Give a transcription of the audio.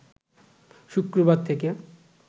শুক্রবার থেকে